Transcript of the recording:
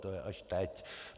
To je až teď.